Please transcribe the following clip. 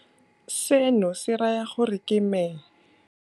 Seno se raya gore ke me.